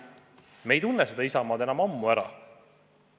Me ei tunne seda Isamaad enam ammu ära.